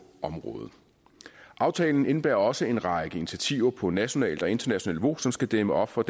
området aftalen indebærer også en række initiativer på nationalt og internationalt niveau som skal dæmme op for